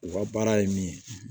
U ka baara ye min ye